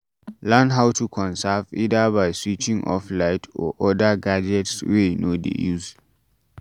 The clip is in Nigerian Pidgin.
Learn how to conserve either by switching off light or oda gadgets wey you no dey use